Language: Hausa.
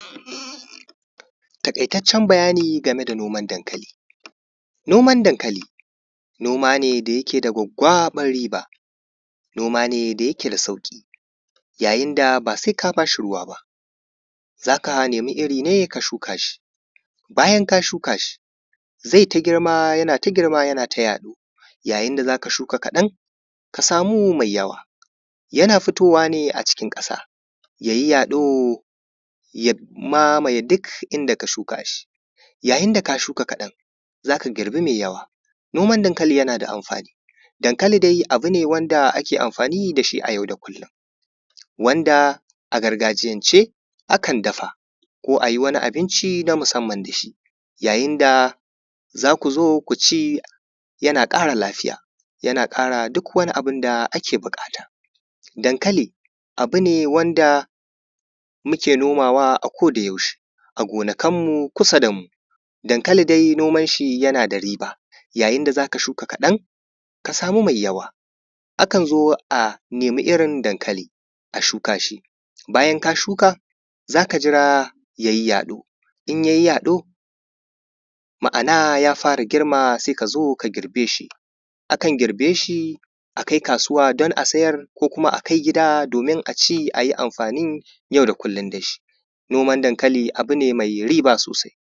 taƙaitaccen bayani game da noman dankali noman dankali noma ne da yake da gwaggwaɓan riba noma ne da yake da sauƙi yayin da ba sai ka ba shi ruwa ba za ka nemi iri ne ka shuka shi bayan ka shuka shi zai ta girma yana ta girma yana ta yaɗo yayin da za ka shuka kaɗan ka samu mai yawa yana fitowa ne a cikin ƙasa yayi yaɗo ya mamaye duk inda ka shuka shi yayin da ka shuka kaɗan za ka girbi mai yawa noman dankali yana da amfani dankali dai abu ne wanda ake amfani da shi na yau da kullum wanda a gargajiyance akan dafa ko a wani abinci na musamman da shi yayin da za ku zo ku ci yana ƙara lafiya yana ƙara duk wani abunda ake buƙata dankali abu ne wanda muke nomawa a kodayaushe a gonakanmu kusa damu dankali dai noman shi yana da riba yayin da za ka shuka kaɗan ka samu mai yawa akan zo a nemi irin dankali a shuka shi bayan ka shuka za ka jira ya yi yaɗo in ya yi yaɗo ma’ana ya fara girma sai ka zo ka girbe shi akan girbe shi a kai kasuwa don a siyar ko kuma a kai gida domin a ci a yi amfani yau da kullum da shi noman dankali abu ne mai riba sosai